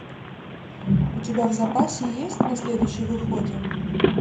у тебя в запасе есть на следующей выходим